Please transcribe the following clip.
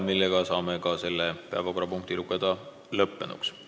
Seega saame selle päevakorrapunkti arutelu lõppenuks lugeda.